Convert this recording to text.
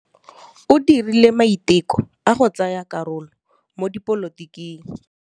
O dirile maitekô a go tsaya karolo mo dipolotiking.